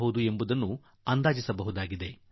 ಅದನ್ನು ನಾವು ಅಂದಾಜು ಮಾಡಿಕೊಳ್ಳಬಹುದಾಗಿದೆ